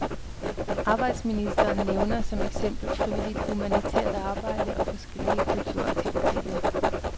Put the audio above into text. Arbejdsministeren nævner som eksempel frivilligt humanitært arbejde og forskellige kulturaktiviteter.